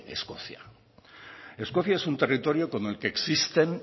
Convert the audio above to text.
escocia escocia es un territorio con el que existen